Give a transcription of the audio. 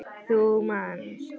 Þú manst.